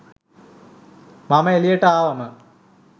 මම එළියට ආවම